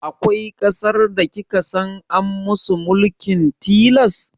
Akwai ƙasar da kika san an musu mulkin tilas?